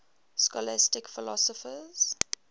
scholastic philosophers